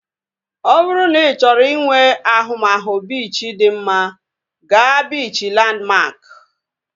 Ọ bụrụ na ị chọrọ inwe ahụmahụ biichi dị mma, gaa biichi Lanmak